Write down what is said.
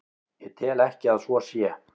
Ég tel ekki að svo sé.